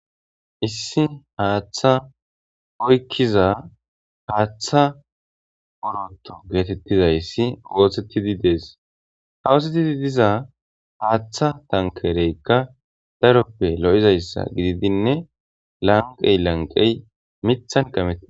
Issi haaththa oykkiza haaththa oroto geetettizayssi woosettidi dees hawoosettidi diza haaththa tankereykka daroppe lo'izayssa gididinne lanqey lanqey mithan kametei